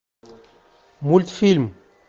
мультфильм